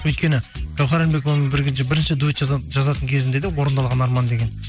өйткені гаухар әлімбековамен бірге бірінші дуэт жазатын кезінде де орындалған арман деген